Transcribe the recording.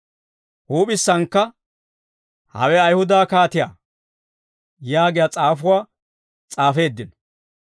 Huup'issannakka, «Hawe Ayihuda kaatiyaa» yaagiyaa s'aafuwaa s'aafeeddino.